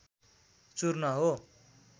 चूर्ण हो।